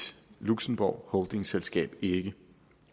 luxembourgholdingselskab ikke